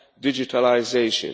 and digitalisation.